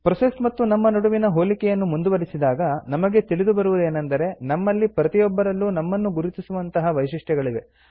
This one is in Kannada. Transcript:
ಪ್ರೋಸೆಸ್ ಮತ್ತು ನಮ್ಮ ನಡುವಿನ ಹೋಲಿಕೆಯನ್ನು ಮುಂದುವರಿಸಿದಾಗ ನಮಗೆ ತಿಳಿಯಬರುವುದೇನೆಂದರೆ ನಮ್ಮಲ್ಲಿ ಪ್ರತಿಯೊಬ್ಬರಲ್ಲೂ ನಮ್ಮನ್ನು ಗುರುತಿಸುವಂತಹ ವೈಶಿಷ್ಟ್ಯಗಳಿವೆ